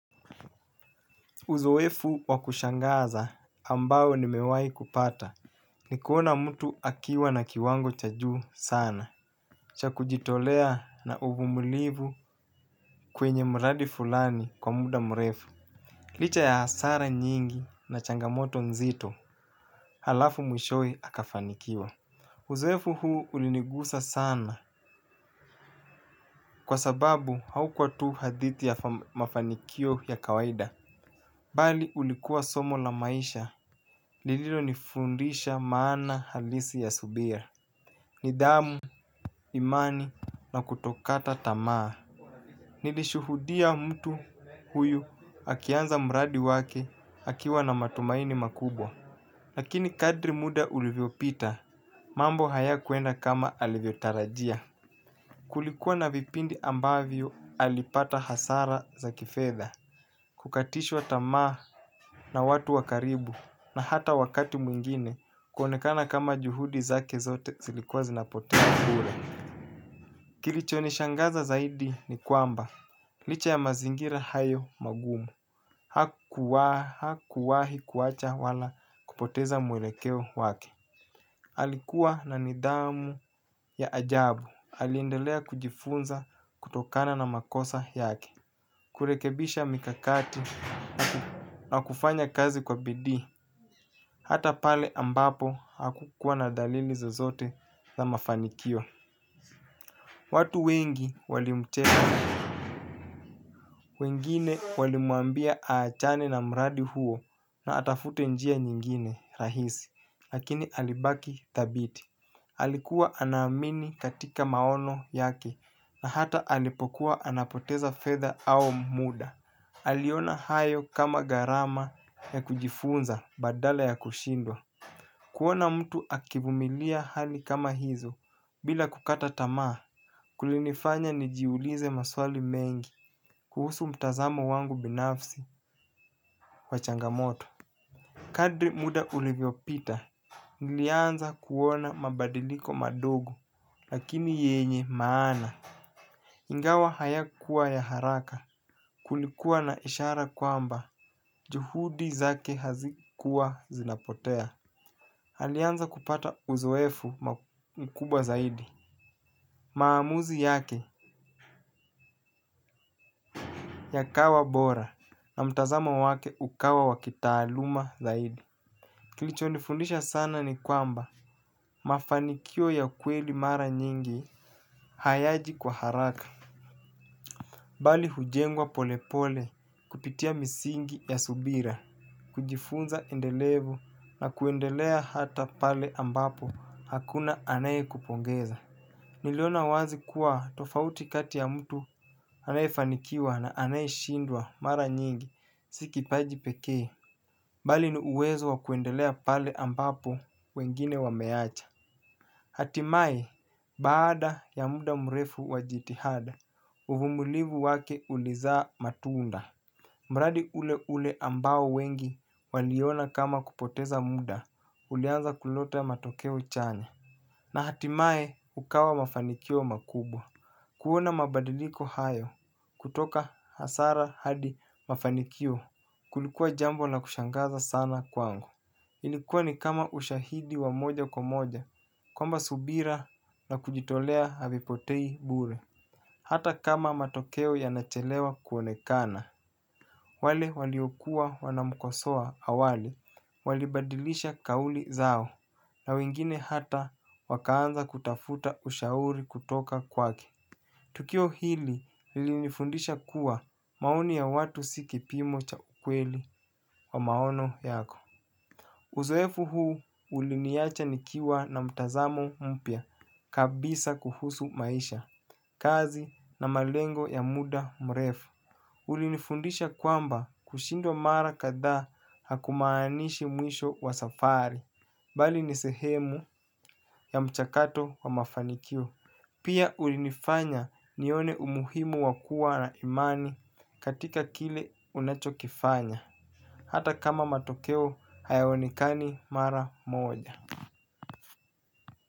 Uzoefu wakushangaza ambayo nimewai kupata. Nikuona mtu akiwa na kiwango chajuu sana. Cha kujitolea na uvumulivu kwenye mradi fulani kwa muda mrefu. Licha ya hasara nyingi na changamoto mzito halafu mwishowe hakafanikiwa. Uzoefu huu ulinigusa sana. Kwa sababu haukwa tu hadithi ya mafanikio ya kawaida. Bali ulikuwa somo la maisha. Lililo nifundisha maana halisi ya subira nidhamu, imani na kutokata tamaa. Nilishuhudia mtu huyu akianza mradi wake akiwa na matumaini makubwa. Lakini kadri muda ulivyo pita mambo haya kuenda kama alivyo tarajia. Kulikuwa na vipindi ambavyo alipata hasara za kifedha. Kukatishwa tamaa na watu wakaribu na hata wakati mwingine kuonekana kama juhudi zake zote zilikuwa zinapoteza bure. Kilicho nishangaza zaidi ni kwamba licha ya mazingira hayo magumu hakuwahi kuacha wala kupoteza mwelekeo wake. Alikuwa na nidhamu ya ajabu. Aliendelea kujifunza kutokana na makosa yake kurekebisha mikakati na kufanya kazi kwa bidii. Hata pale ambapo haku kuwa na dalili zozote za mafanikio watu wengi walimcheka wengine walimwambia achane mradi huo na atafute njia nyingine rahisi lakini alibaki thabiti alikuwa ana amini kwenye maono yake na hata alipokuwa anapoteza fedha au muda aliona hayo kama garama ya kujifunza badala ya kushindwa kuona mtu akivumilia hali kama hizo bila kukata tamaa. Kulinifanya nijiulize maswali mengi kuhusu mtazamo wangu binafsi wachangamoto. Kadri muda uliviopita nilianza kuona mabadiliko madogo lakini yenye maana. Ingawa haya kuwa ya haraka kulikuwa na ishara kwamba juhudi zake hazikuwa zinapotea. Halianza kupata uzoefu mkuba zaidi. Maamuzi yake yakawa bora na mtazama wake ukawa wakitaaluma zaidi. Kilichonifundisha sana ni kwamba mafanikio ya kweli mara nyingi hayaji kwa haraka. Bali hujengwa polepole kupitia misingi ya subira kujifunza endelevu na kuendelea hata pale ambapo hakuna anayekupongeza. Niliona wazi kuwa tofauti kati ya mtu anayefanikiwa na anayishindwa mara nyingi sikipaji pekee bali ni uwezo wakuendelea pale ambapo wengine wameacha. Hatimae baada ya muda mrefu wajitihada uvumulivu wake ulizaa matunda. Mradi ule ule ambao wengi waliona kama kupoteza muda ulianza kulota matoke uchanya na hatimae ukawa mafanikio makubwa. Kuona mabadiliko hayo kutoka hasara hadi mafanikio kulikuwa jambo la kushangaza sana kwangu ilikuwa kama ushahidi wa moja kwa moja kwamba subira na kujitolea havipotei bure. Hata kama matokeo yanachelewa kuonekana wale waliokuwa wanamkosoa awali, walibadilisha kauli zao, na wengine hata wakaanza kutafuta ushauri kutoka kwake. Tukio hili li nifundisha kuwa maoni ya watu si kipimo cha ukweli wa maono yako. Uzuefu huu uliniyacha nikiwa na mtazamo mpya kabisa kuhusu maisha, kazi na malengo ya muda mrefu. Kulinifundisha kwamba kushindwa mara kadhaa hukumaanishi mwisho wa safari bali ni sehemu ya mchakato wa mafanikio. Pia ulinifanya nione umuhimu wakua na imani katika kile unachokifanya hata kama matokeo hayaonekani mara moja.